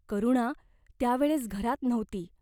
करुणा त्या वेळेस घरात नव्हती.